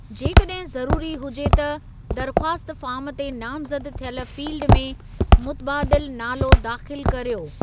जेकॾहिं ज़रूरी हुजे त, दरख़्वास्त फ़ार्म ते नामज़द थियल फ़ील्डि में मुतबादिल नालो दाख़िलु करियो।